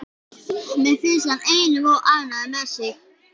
Mér finnst hann einum of ánægður með sig.